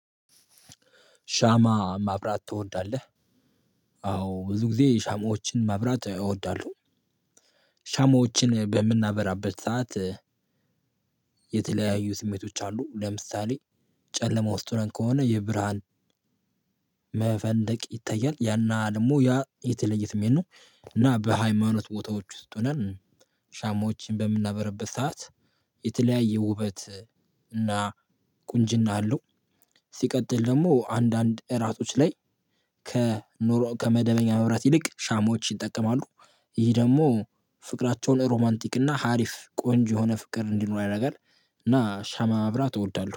ሻማ ማብራት ትወዳለህ? አዎ ብዙ ጊዜ ሻማዎችን ማብራት እወዳለው ሻማዎችን በምናበራበት ሰዓት። የተለያዩ ስሜቶች አሉ። ለምሳሌ ጨለማ ውስጥ ሆነን ከሆነ የብርሃን መፈንደቅ ይታያል ያና ደግሞ ያ የተለየ ስሜት ነው። እና በሃይማኖት ቦታዎች ውስጥ ሆነን ሻሞችን በምናበረበት ሰዓት የተለያየ ውበት እና ቁንጅና አለው። ሲቀጥል ደግሞ አንዳንድ እራቶች ላይ ከኖሮ ከመደበኛ መብራት ይልቅ ሻሞች ይጠቀማሉ። ይሄ ደግሞ ፍቅራቸውን ሮማንቲክ እና ሀሪፍ ቆንጆ የሆነ ፍቅር እንዲኖር ያረጋል። እና ሻማ ማብራት እወዳለው